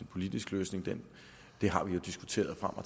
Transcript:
politisk løsning det har vi jo diskuteret frem og